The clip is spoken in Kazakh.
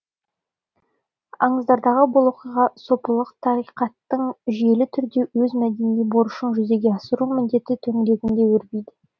аңыздардағы бұл оқиға сопылық тариқаттың жүйелі түрде өз мәдени борышын жүзеге асыру міндеті төңірегінде өрбиді